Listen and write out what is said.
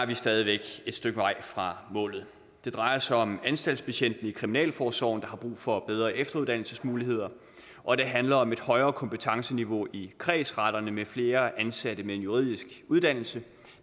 vi stadig væk et stykke vej fra målet det drejer sig om anstaltsbetjentene i kriminalforsorgen der har brug for bedre efteruddannelsesmuligheder og det handler om et højere kompetenceniveau i kredsretterne med flere ansatte med en juridisk uddannelse